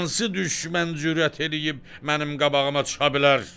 Hansı düşmən cürət eləyib mənim qabağıma çıxa bilər?